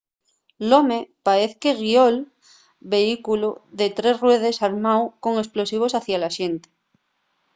l’home paez que guió’l vehículu de tres ruedes armáu con esplosivos hacia la xente